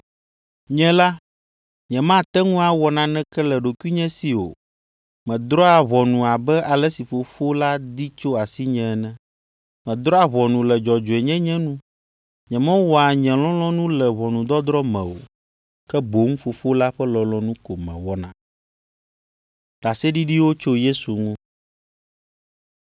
“Nye la, nyemate ŋu awɔ naneke le ɖokuinye si o; medrɔ̃a ʋɔnu abe ale si Fofo la di tso asinye ene. Medrɔ̃a ʋɔnu le dzɔdzɔenyenye nu. Nyemewɔa nye lɔlɔ̃nu le ʋɔnudɔdrɔ̃ me o, ke boŋ Fofo la ƒe lɔlɔ̃nu ko mewɔna.